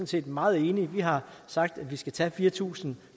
set meget enige vi har sagt at vi skal tage fire tusind